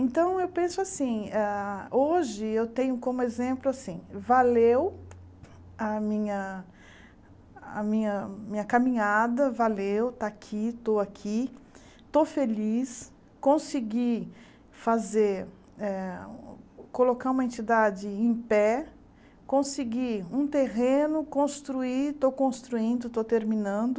Então eu penso assim, ah hoje eu tenho como exemplo assim, valeu a minha a minha a minha caminhada, valeu, está aqui, estou aqui, estou feliz, consegui fazer ah, colocar uma entidade em pé, consegui um terreno, construí, estou construindo, estou terminando,